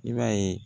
I b'a ye